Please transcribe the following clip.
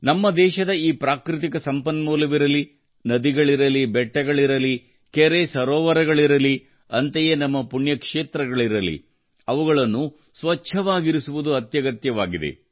ನಮ್ಮ ದೇಶಧ ಈ ಪ್ರಾಕೃತಿಕ ಸಂಪನ್ಮೂಲವಿರಲಿ ನದಿಗಳಿರಲಿ ಬೆಟ್ಟಗಳಿರಲಿ ಕೆರೆ ಸರೋವರಗಳಿರಲಿ ಅಂತೆಯೇ ನಮ್ಮ ಪುಣ್ಯ ಕ್ಷೇತ್ರಗಳಿರಲಿ ಅವುಗಳನ್ನು ಸ್ವಚ್ಛವಾಗಿರಿಸುವುದು ಅತ್ಯಗತ್ಯವಾಗಿದೆ